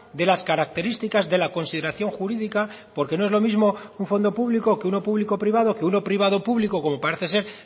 de las características de la consideración jurídica porque no es lo mismo un fondo público que uno público privado que uno privado público como parece ser